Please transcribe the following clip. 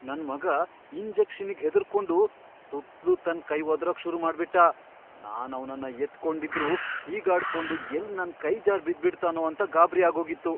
ನನ್ ಮಗ ಇಂಜೆಕ್ಷನ್ನಿಗ್ ಹೆದ್ರುಕೊಂಡು ಸುತ್ಲೂ ತನ್ ಕೈ ವದ್ರೋಕ್ ಶುರುಮಾಡ್ಬಿಟ್ಟ, ನಾನ್ ಅವ್ನನ್ನ ಎತ್ಕೊಂಡಿದ್ರೂ ಹೀಗಾಡ್ಕೊಂಡು ಎಲ್ಲ್ ನನ್ ಕೈ ಜಾರ್ ಬಿದ್ಬಿಡ್ತಾನೋ ಅಂತ ಗಾಬ್ರಿ ಆಗೋಗಿತ್ತು.